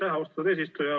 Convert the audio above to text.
Aitäh, austatud eesistuja!